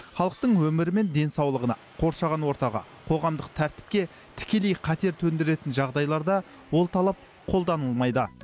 халықтың өмірі мен денсаулығына қоршаған ортаға қоғамдық тәртіпке тікелей қатер төндіретін жағдайларда ол талап қолданылмайды